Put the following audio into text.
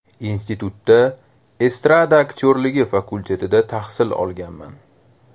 Institutda Estrada aktyorligi fakultetida tahsil olganman.